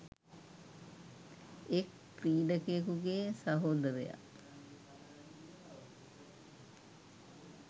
එක් ක්‍රීඩකයෙකුගේ සහෝදරයා